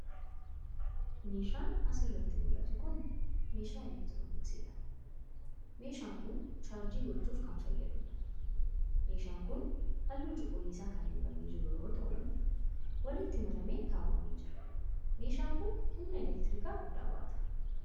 Meeshaan as irratti mul'atu kun, meeshaa elektirooniksii dha. Meeshaan kun, chaarjii gochuuf kan fayyaduu dha. Meeshaan kun, haalluu cuquliisa kan dibamee jiru yoo ta'u, walitti maramee kaawwamee jira. Meeshaan kun, humna elektirikaa guddaa baata.